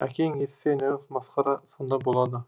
әкең естісе нағыз масқара сонда болады